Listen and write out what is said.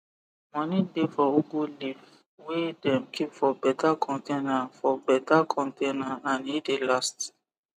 moni dey for ugu leaf wey dem keep for beta container for beta container and e de last